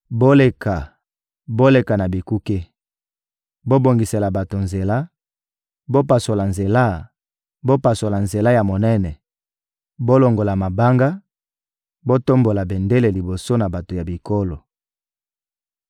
Boleka, boleka na bikuke! Bobongisela bato nzela, bopasola nzela, bopasola nzela ya monene! Bolongola mabanga, botombola bendele liboso na bato ya bikolo.